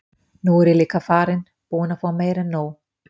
Nú er ég líka farinn. búinn að fá meira en nóg.